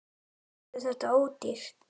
Færðu þetta ódýrt?